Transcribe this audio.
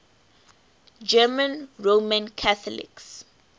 german roman catholics